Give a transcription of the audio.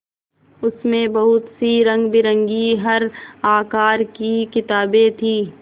उसमें बहुत सी रंगबिरंगी हर आकार की किताबें थीं